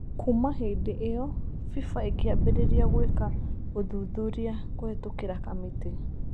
Kuuma hĩndĩ ĩyo, FIFA ĩkĩambĩrĩria gwĩka ũthuthuria kũhetũkĩra kamĩtĩ